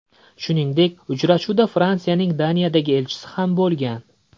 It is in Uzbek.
Shuningdek, uchrashuvda Fransiyaning Daniyadagi elchisi ham bo‘lgan.